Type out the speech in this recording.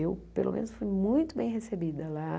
Eu, pelo menos, fui muito bem recebida lá.